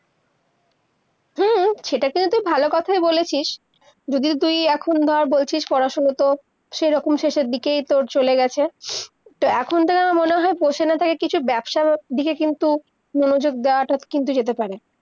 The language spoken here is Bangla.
সেইটা কিন্তু ভালই কথা বলেছিস, যদিও তুই এখন বা বলছিস পড়া-শুনা তোর সেইরকম শেষের দিকেই তোর চলে গেছে, তো এখন থেকে আমার মনে হয় বসে না থেকে কিছু ব্যবসা দিকে কিন্তু মনযোগ দেয়াটা কিন্তু হতে পারে